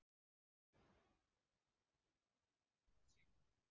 Og hvernig kjarasamninga vilja landsmenn sjá?